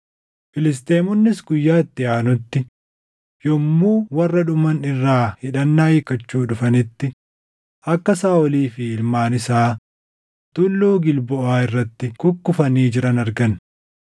Filisxeemonnis guyyaa itti aanutti yommuu warra dhuman irraa hidhannaa hiikkachuu dhufanitti akka Saaʼolii fi ilmaan isaa Tulluu Gilboʼaa irratti kukkufanii jiran argan.